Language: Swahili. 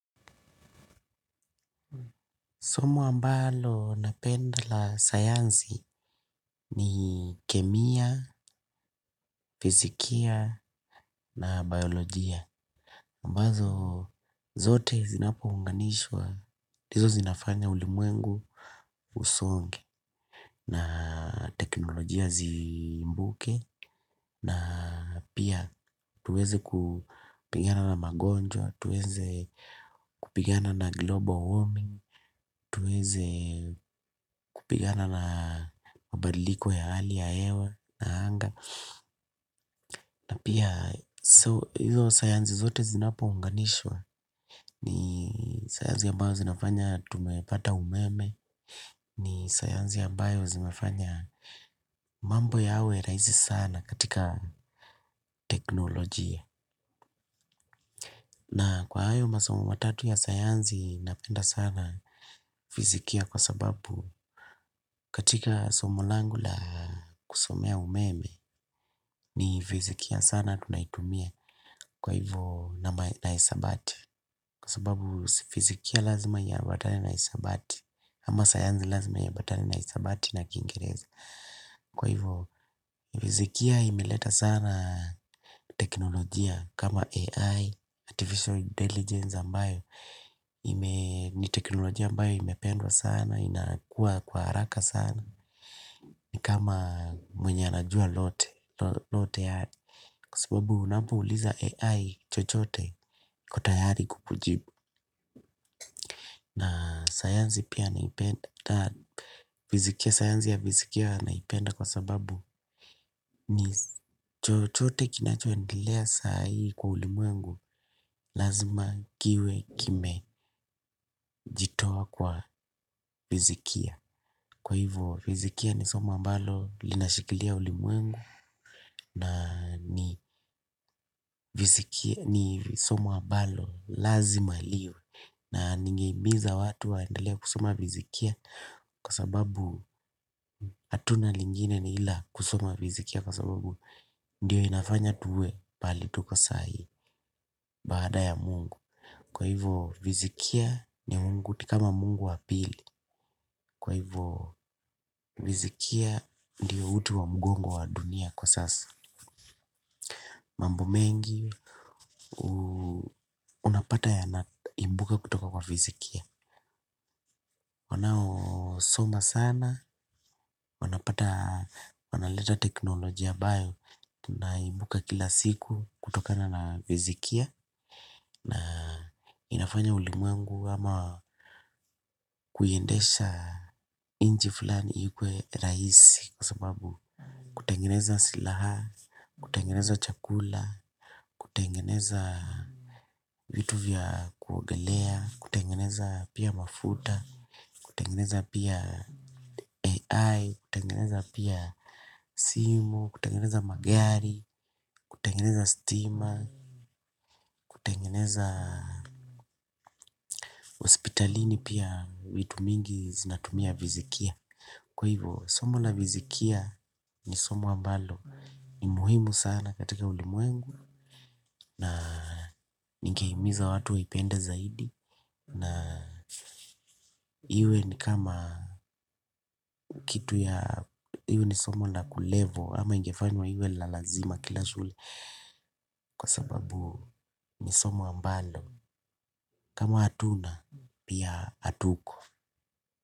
Somo ambalo napenda la sayansi, ni kemia, fizikia, na baiyolojia. Ambazo zote zinapounganishwa, ndizo zinafanya ulimwengu usonge, na teknolojia ziibuke, na pia tuweze kupigana na magonjwa, tuweze kupigana na global warming, tuweze kupigana na mabadiliko ya hali ya hewa. Na pia hizo sayansi zote zinapounganishwa ni sayansi ambazo zinafanya tumepata umeme ni sayansi ambayo zimefanya mambo yawe rahisi sana katika teknolojia. Na kwa hayo masomo matatu ya sayansi napenda sana fizikia kwa sababu katika somo langu la kusomea umeme ni fizikia sana tunaitumia. Kwa hivyo na hisabati. Kwa sababu fizikia lazima iambatane na hisabati ama sayansi lazima iambatane na hisabati na kiingereza. Kwa hivyo fizikia imeleta sana teknolojia kama AI, artificial intelligence ambayo ime ni teknolojia ambayo imependwa sana, inakua kwa haraka sana. Ni kama mwenye anajua lote. Kwa sababu unapouliza AI chochote iko tayari kukujibu. Na sayansi pia naipenda, fizikia, sayansi ya fizikia naipenda kwa sababu ni chochote kinachoendelea sahii kwa ulimwengu. Lazima kiwe kimejitoa kwa fizikia. Kwa hivyo fizikia ni somo ambalo linashikilia ulimwengu. Na ni fizikia ni somo ambalo lazima liwe na nigehimiza watu waendelee kusoma fizikia. Kwa sababu hatuna lingine ni ila kusoma vizikia. Kwa sababu ndiyo inafanya tuwe pahali tuko sahii. Baada ya Mungu Kwa hivyo fizikia ni Mungu ni kama Mungu wa pili. Kwa hivyo fizikia ndiyo uti wa mgongo wa dunia kwa sasa. Mambo mengi unapata yanaibuka kutoka kwa fizikia. Wanaosoma sana wanapata wanaleta teknolojia ambayo tunaibuka kila siku kutokana na fizikia. Na inafanya ulimwengu ama kuiendesha nchi fulani iwe rahisi. Kwa sababu kutengeneza silaha, kutengeneza chakula, kutengeneza vitu vya kuogelea kutengeneza pia mafuta, kutengeneza pia AI, kutengeneza pia simu, kutengeneza magari kutengeneza stima, kutengeneza hospitalini pia vitu mingi zinatumia fizikia kwa hivyo somo la fiizikia ni somo ambalo ni muhimu sana katika ulimwengu na ningehimiza watu waipende zaidi na iwe ni kama kitu ya iwe ni somo la kulevel ama ingefanywa iwe la lazima kila shule kwa sababu ni somo ambalo kama hatuna pia hatuko.